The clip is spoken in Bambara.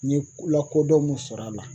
N ye lakodɔn mun sɔrɔ a la